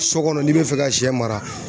So kɔnɔ n'i bɛ fɛ ka sɛ mara